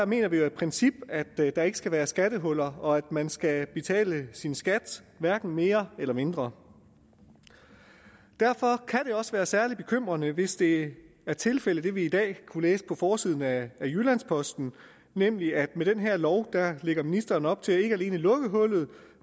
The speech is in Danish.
mener vi i princippet at der ikke skal være skattehuller og at man skal betale sin skat hverken mere eller mindre derfor kan det også være særlig bekymrende hvis det er tilfældet med det vi i dag kunne læse om på forsiden af jyllands posten nemlig at med den her lov lægger ministeren op til ikke alene at lukke hullet